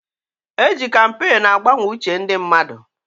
E ji kampeenu agbanwe uche ndị mmadụ.